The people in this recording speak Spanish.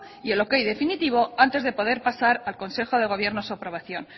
y el ok definitivo antes de poder pasar al consejo de gobierno su aprobación